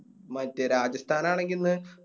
മറ്റേ രാജസ്ഥാൻ ആണെങ്കി ഇന്ന്